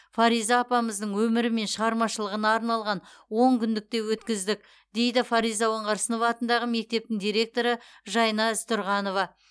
фариза апамыздың өмірі мен шығармашылығына арналған он күндік те өткіздік дейді фариза оңғарсынова атындағы мектептің директоры жайна ізтұрғанова